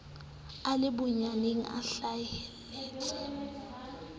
a le boyeneng a hlaheletse